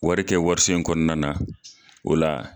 Wari kɛ warisen in kɔnɔna na o la